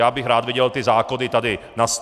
Já bych rád viděl ty zákony tady na stole.